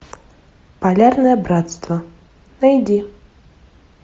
полярное братство найди